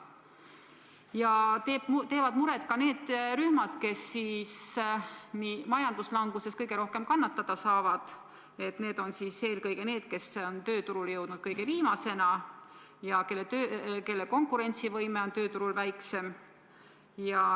Ja teevad muret ka need rühmad, kes majanduslanguses kõige rohkem kannatada saavad, need on eelkõige inimesed, kes on tööturule jõudnud kõige viimasena ja kelle konkurentsivõime on tööturul väikseim.